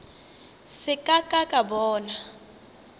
se ka ka ka bona